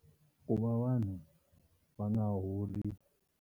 Ku va vanhu va nga holi.